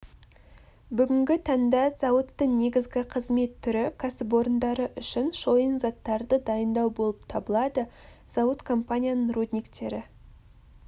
бүгінгі таңда зауыттың негізгі қызмет түрі кәсіпорындары үшін шойын заттарды дайындау болып табылады зауыт компанияның рудниктері